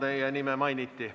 Teie nime mainiti.